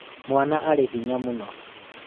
mwana arĩ hinya mũno